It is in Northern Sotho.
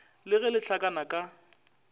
le ge le hlakana ka